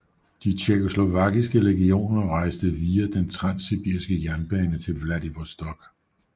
De tjekkoslovakiske legioner rejste via den transsibiriske jernbane til Vladivostok